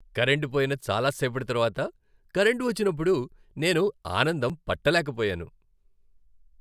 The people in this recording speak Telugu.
కరెంటు పోయిన చాలా సేపటి తర్వాత కరెంటు వచ్చినప్పుడు నేను ఆనందం పట్టలేకపోయాను.